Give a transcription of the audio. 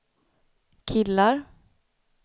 killar